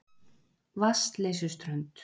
Vatnsleysuströnd